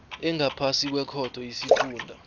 engaphasi kwekhotho isifunda